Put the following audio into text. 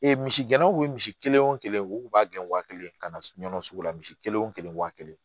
Ee misi gɛnnaw bɛ misi kelen wo kelen u kun b'a gɛn wa kelen ka na nɔnɔ sugu la misi kelen o kelen waa kelen